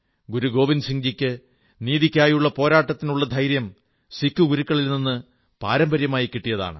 ഗുരു ഗോവിന്ദസിംഹ് ജിക്ക് നീതിയ്ക്കായുള്ള പോരാട്ടത്തിനുള്ള ധൈര്യം സിക്കു ഗുരുക്കളിൽ നിന്ന് പാരമ്പര്യമായി കിട്ടിയതാണ്